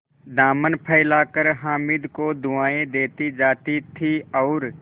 दामन फैलाकर हामिद को दुआएँ देती जाती थी और